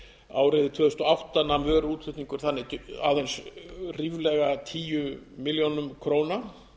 árið tvö þúsund og átta nam vöruútflutningur þannig aðeins ríflega tíu milljónir króna